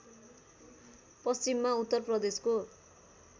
पश्चिममा उत्तर प्रदेशको